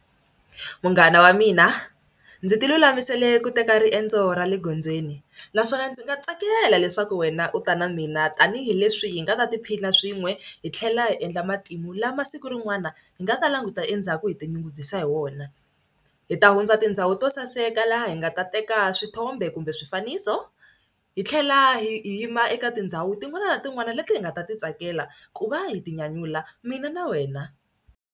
Munghana wa mina ndzi tilulamisele ku teka riendzo ra le gondzweni naswona ndzi nga tsakela leswaku wena u ta na mina tanihileswi hi nga ta tiphina swin'we hi tlhela hi endla matimu lama siku rin'wana hi nga ta languta endzhaku hi tinyungubyisa hi wona. Hi ta hundza tindhawu to saseka laha hi nga ta teka swithombe kumbe swifaniso hi tlhela hi yima eka tindhawu tin'wana na tin'wana leti hi nga ta ti tsakela ku va hi tinyanyula mina na wena.